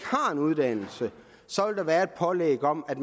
har en uddannelse så vil være et pålæg om at